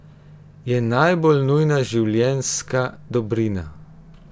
Je najbolj nujna življenjska dobrina.